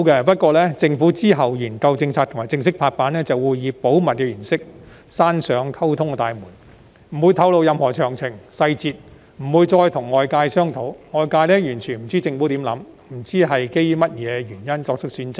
不過，政府其後在研究政策及正式拍板時，會以保密原因關上溝通大門，不會透露任何詳情和細節，也不會再跟外界商討，外界完全不知政府的想法，不知道基於甚麼原因而作出選擇。